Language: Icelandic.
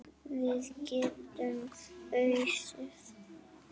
Við getum ausið.